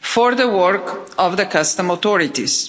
for the work of the customs authorities.